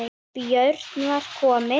Björn var kominn.